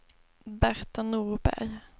Berta Norberg